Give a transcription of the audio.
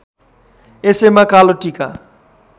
यसैमा कालो टीका